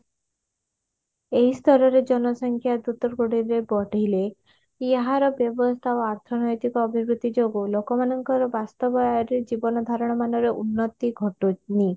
ଏଇ ସ୍ତରରେ ଜନସଂଖ୍ୟା ଦ୍ରୁତଗତିରେ ବଢିଲେ ଏହାର ବ୍ୟବସ୍ଥା ଆଉ ଅର୍ଥନୈତିକ ଅଭିବୃଦ୍ଧି ଯୋଗୁ ଲୋକମାନଙ୍କର ବାସ୍ତବରେ ଜୀବନ ଧାରଣ ମାନର ଉର୍ନତି ଘଟୁନି